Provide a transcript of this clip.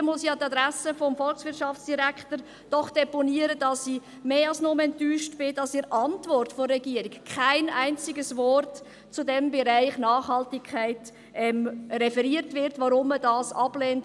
Hier muss ich doch an die Adresse des Volkswirtschaftsdirektors deponieren, dass ich mehr als nur enttäuscht bin, dass in der Antwort der Regierung kein einziges Wort zu diesem Bereich Nachhaltigkeit referiert wird und weshalb man das ablehnt.